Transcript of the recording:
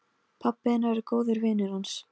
Pabbi hennar er góður vinur hans.